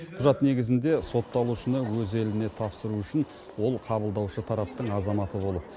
құжат негізінде сотталушыны өз еліне тапсыру үшін ол қабылдаушы тараптың азаматы болып